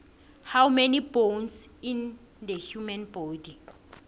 how many bones in the human body